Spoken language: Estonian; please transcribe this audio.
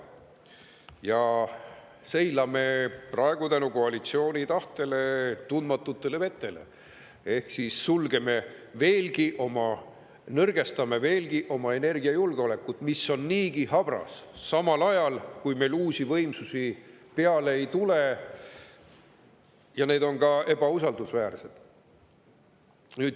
Me seilame praegu koalitsiooni tahte tõttu tundmatutes vetes ehk siis nõrgestame energiajulgeolekut, mis on niigi habras, samal ajal meil aga uusi võimsusi peale ei tule, ja ka need on ebausaldusväärsed.